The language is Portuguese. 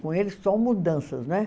Com ele, só mudanças, não é?